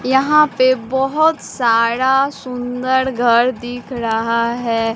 यहां पे बहोत सारा सुंदर घर दिख रहा है।